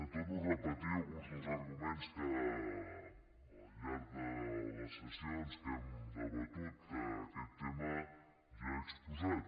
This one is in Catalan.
torno a repetir alguns dels arguments que al llarg de les sessions en què hem debatut aquest tema ja he exposat